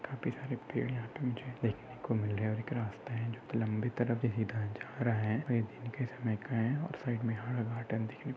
और काफी सारे पेड़ यहा पे मुझे देखने को मिल रहे है और एक रास्ता है जो की बहुत ही लंबी तरफ से सीधा जा रहा है। और ये-- ]